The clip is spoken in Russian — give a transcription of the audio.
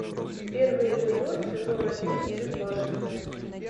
первый эпизод сезон один безбашенные